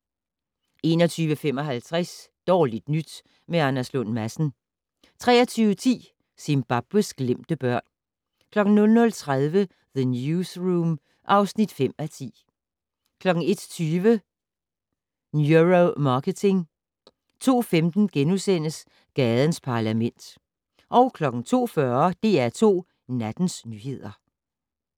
21:55: Dårligt nyt med Anders Lund Madsen 23:10: Zimbabwes glemte børn 00:30: The Newsroom (5:10) 01:20: Neuromarketing 02:15: Gadens Parlament * 02:40: DR2 Nattens nyheder